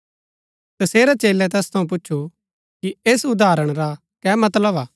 तसेरै चेलै तैस थऊँ पूच्छु कि ऐस उदाहरण रा कै मतलब हा